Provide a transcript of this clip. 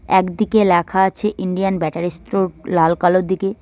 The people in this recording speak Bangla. একদিকে লেখা আছে ইন্ডিয়ান ব্যাটারি স্টোর লাল কালোর দিকে।